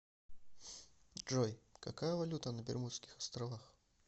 джой какая валюта на бермудских островах